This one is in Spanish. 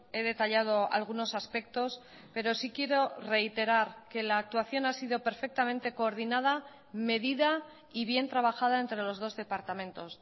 he detallado algunos aspectos pero sí quiero reiterar que la actuación ha sido perfectamente coordinada medida y bien trabajada entre los dos departamentos